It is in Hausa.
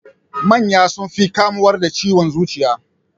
Manya sun fi kamuwa da ciwon zuciya.